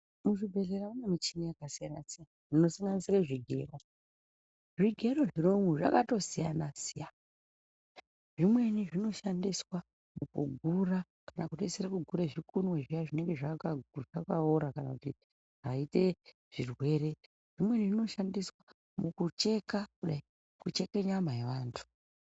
Muzvibhehlera mune michini yakasiyana siyana inosanganisire zvigero. Zvigero zviri umwu zvakatosiyana siyana. Zvimweni zvinoshandiswa kugura kana kupedzisira kugura zvikunwe zviya zvakaora kana kuti zvaite zvirwere. Zvimweni zvinoshandiswa mukucheka kudai. Kucheka nyama yevantu.